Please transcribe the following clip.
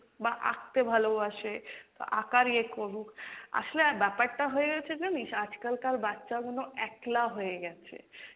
বা আঁকতে ভালোবাসে তো আঁকার ইয়ে করুক, আসলে আর ব্যাপারটা হয়ে গেছে জানিস আজকালকার বাচ্চাগুনো একলা হয়ে গেছে,